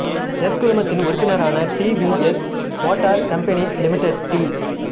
S குழுமத்தின் உறுப்பினரான T V S motor company limited D